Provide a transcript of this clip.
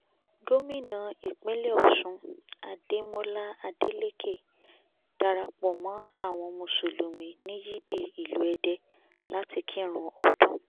gómìnà ìpínlẹ̀ ọ̀ṣún adémọlá adeleke darapọ̀ mọ́ àwọn mùsùlùmí ní yìdìí ìlú èdè láti kírun ọdún